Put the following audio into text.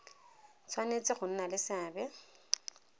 tshwanetse go nna le seabe